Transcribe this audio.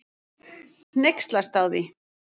Hneykslast á því.